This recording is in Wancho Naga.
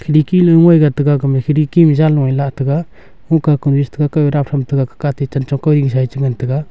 dikilu ngoi ga taga gama khidki ma janlo e la taga hungka kunu e cha taga kou ee dap tham taga gag ka ke atte chan chong kau hing sa ee cha ngan taga.